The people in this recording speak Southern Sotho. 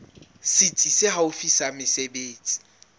setsi se haufi sa mesebetsi